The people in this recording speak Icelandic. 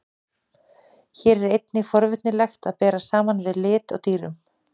Hér er einnig forvitnilegt að bera saman við lit á dýrum.